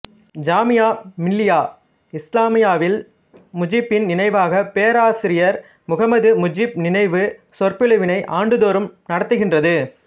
ஜாமியா மில்லியா இஸ்லாமியாவில் முஜீப்பின் நினைவாக பேராசிரியர் முகமது முஜீப் நினைவு சொற்பொழிவினை ஆண்டுதோறும் நடத்துகின்றது